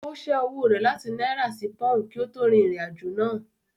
Ó ṣẹ́ owó rẹ̀ láti náírà sí pọùn kí ó tó rin ìrìn-àjò náà.